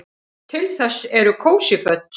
Til þess eru kósí föt.